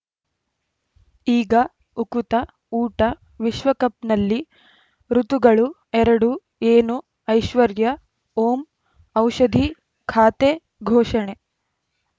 ಈಗ ಉಕುತ ಊಟ ವಿಶ್ವಕಪ್‌ನಲ್ಲಿ ಋತುಗಳು ಎರಡು ಏನು ಐಶ್ವರ್ಯಾ ಓಂ ಔಷಧಿ ಖಾತೆ ಘೋಷಣೆ